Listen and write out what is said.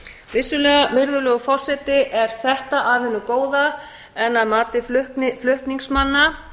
vissulega virðulegur forseti er þetta af hinu góða en að mati flutningsmanna